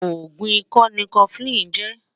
ògún ìkọ ní koflin jè